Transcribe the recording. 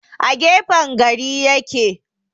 A gefen gari ya ke.